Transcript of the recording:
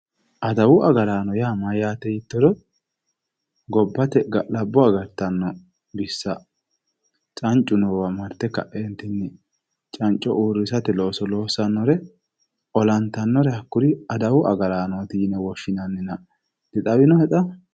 adawu agarano mayyaate yiittoro gobbate ga'labbo agartanno bissa cancu noo bayiicho marte ka'eenti canco uurrisate looso loossannore olantannore hakkuri adawu agaraannoti yine woshshinannina dixawinohe xa?